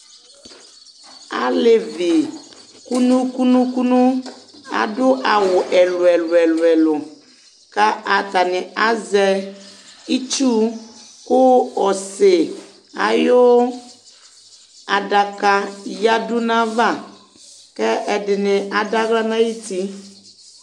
Alevi kʋnu kʋnu kʋnu aɖu awu ɛlu ɛlu ɛlʋ kʋ ataŋi azɛ itsu kʋ ɔsì ayʋ aɖaka yaɖu ŋu ayʋ ava kʋ ɛɖìní aɖu aɣla ŋu ayʋti